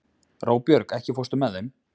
Róbjörg, ekki fórstu með þeim?